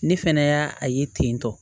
Ne fɛnɛ y'a a ye ten tɔ